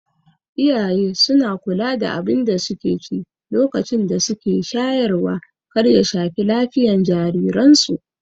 Iyaye suna kula da abinda suke ci lokacin da suke shayarwa kar ya shafi lafiyan jariran su